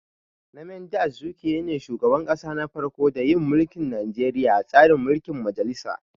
Nnamdi Azikwe ne shugaban kasa na farko da yin mulkin Nijeriya a tsarin mulkin majalisa